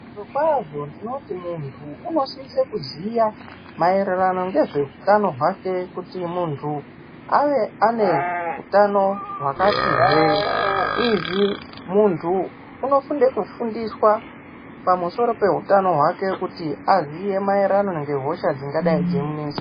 Zvirokwazvo tinoti muntu unosisa kuziya maererano ngezvehutano hwake kuti muntu ave ane hutano hwakati hwe . Izvi muntu anofana kufundiswa pamusoro pemhutano kuti azive maererano ngehosha dzingadai dzeimunesa.